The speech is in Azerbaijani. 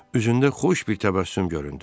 Üzündə xoş bir təbəssüm göründü.